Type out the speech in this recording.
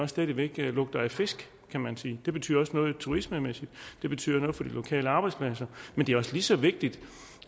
stadig væk lugter af fisk kan man sige det betyder også noget turistmæssigt det betyder noget for de lokale arbejdspladser men det er også lige så vigtigt